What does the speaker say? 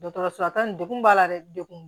Dɔgɔtɔrɔso lataga nin degun b'a la dɛ degun